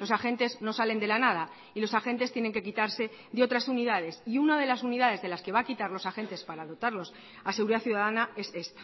los agentes no salen de la nada y los agentes tienen que quitarse de otras unidades y una de las unidades de las que va a quitar los agentes para dotarlos a seguridad ciudadana es esta